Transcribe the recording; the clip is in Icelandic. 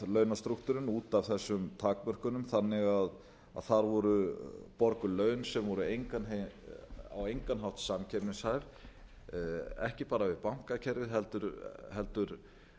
launastrúktúrinn út af þessum takmörkunum þannig að þar voru borguð laun sem voru á engan hátt samkeppnishæf ekki bara við bankakerfið heldur